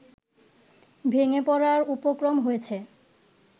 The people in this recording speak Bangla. ভেঙে পড়ার উপক্রম হয়েছে